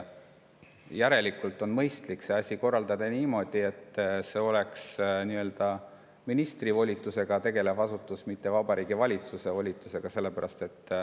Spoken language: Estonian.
Järelikult on mõistlik asi korraldada niimoodi, et see oleks nii-öelda ministri volitusel tegutsev asutus, mitte Vabariigi Valitsuse volitusel.